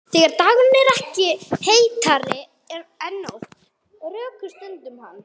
Þegar dagurinn er ekki heitari en nóttin, rökstuddi hann